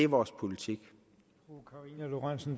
vores politik